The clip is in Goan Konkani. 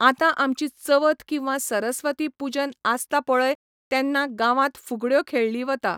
आतां आमची चवथ किंवा सरस्वती पूजन आसता पळय तेन्ना गांवांत फुगड्यो खेळ्ळी वता